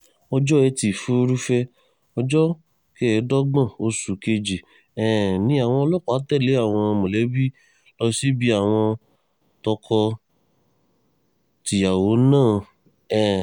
ọjọ́ etí furuufee ọjọ́ kẹẹ̀ẹ́dọ́gbọ̀n oṣù kejì um ni àwọn ọlọ́pàá tẹ̀lé àwọn mọ̀lẹ́bí lọ sí ilé àwọn tọkọ-tìyàwó náà um